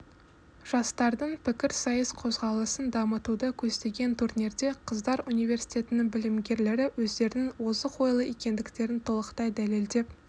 жастардың пікірсайыс қозғалысын дамытуды көздеген турнирде қыздар университетінің білімгерлері өздерінің озық ойлы екендіктерін толықтай дәлелдеп